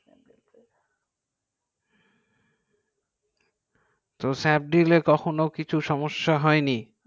snapdeal এ কখনো কিছু সমস্যা হয় নি